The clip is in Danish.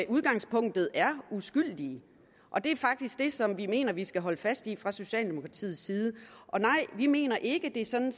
udgangspunktet er uskyldige og det er faktisk det som vi mener vi skal holde fast i fra socialdemokratiets side og nej vi mener ikke det er sådan